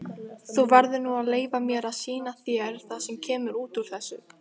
Þú verður nú að leyfa mér að sýna þér það sem kemur út úr þessu.